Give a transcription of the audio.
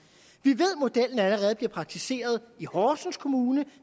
vi ved at modellen allerede bliver praktiseret i horsens kommune